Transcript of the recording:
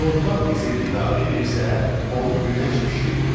Torpaq bizə qida verirsə, onu günəş bişirir.